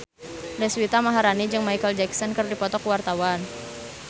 Deswita Maharani jeung Micheal Jackson keur dipoto ku wartawan